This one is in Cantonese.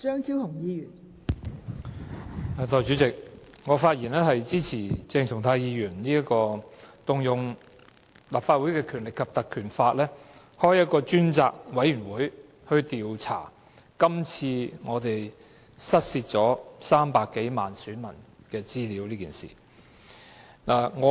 代理主席，我發言支持鄭松泰議員根據《立法會條例》動議議案，成立專責委員會調查失竊300多萬選民資料一事。